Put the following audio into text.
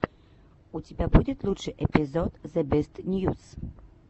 у тебя будет лучший эпизод зебестньюс